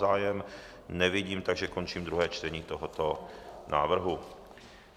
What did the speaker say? Zájem nevidím, takže končím druhé čtení tohoto návrhu.